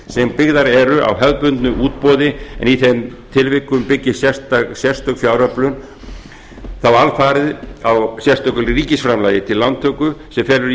sem byggðar eru á hefðbundnu útboði en í þeim tilvikum byggist sérstök fjáröflun þá alfarið á sérstöku ríkisframlagi til lántöku sem felur í